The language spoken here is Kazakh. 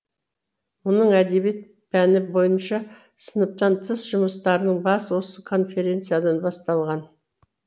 мұның әдебиет пәні бойынша сыныптан тыс жұмыстарының басы осы конференциядан басталған